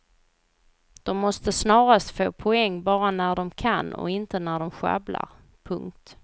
De måste snarast få poäng bara när de kan och inte när de sjabblar. punkt